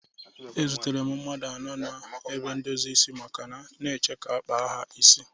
Ezutere m mmadụ anọ nọ n'ebe ndozi isi Amaka na-eche ka ọ kpaa ha isi.